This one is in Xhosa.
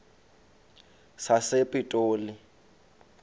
sasepitoli